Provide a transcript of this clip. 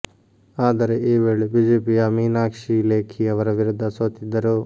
ಆದರೆ ಈ ವೇಳೆ ಬಿಜೆಪಿಯ ಮೀನಾಕ್ಷಿ ಲೇಖಿ ಅವರ ವಿರುದ್ಧ ಸೋತಿದ್ದರು